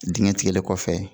Digɛn tigɛli kɔfɛ